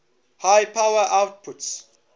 high power outputs